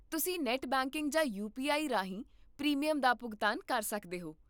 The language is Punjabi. ਤੁਸੀਂ ਨੈੱਟ ਬੈਂਕਿੰਗ ਜਾਂ ਯੂਪੀਆਈ ਰਾਹੀਂ ਪ੍ਰੀਮੀਅਮ ਦਾ ਭੁਗਤਾਨ ਕਰ ਸਕਦੇ ਹੋ